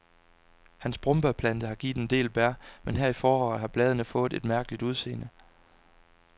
Hans brombærplante har givet en del bær, men her i efteråret har bladene fået et mærkeligt udseende.